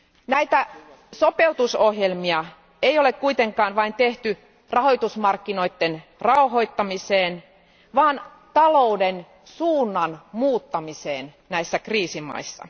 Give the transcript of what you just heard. Näitä sopeutusohjelmia ei ole kuitenkaan vain tehty rahoitusmarkkinoiden rauhoittamiseen, vaan talouden suunnan muuttamiseen näissä kriisimaissa.